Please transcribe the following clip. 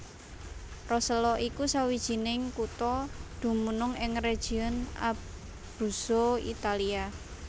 Rosello iku sawijining kutha dumunung ing region Abruzzo Italia